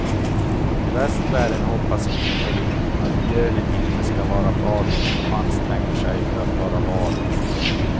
Västvärlden hoppas innerligt att björnen inte skall vara farlig och anstränger sig för att vara varlig.